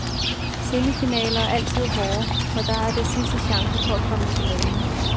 Semifinaler er altid hårde, for dér er det sidste chance for at komme i finalen.